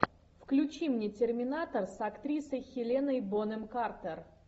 включи мне терминатор с актрисой хеленой бонем картер